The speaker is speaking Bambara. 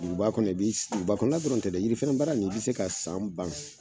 Duguba kɔnɔ ka bɛ , duguba dɔrɔn tɛ, yiri fɛrɛɛ baara in , i bɛ se ka san ban.